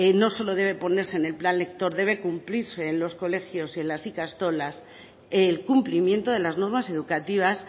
no solo debe ponerse en el plan lector debe cumplirse en los colegios y en las ikastolas el cumplimiento de las normas educativas